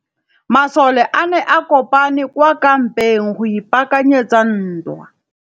Masole a ne a kopane kwa kampeng go ipaakanyetsa ntwa.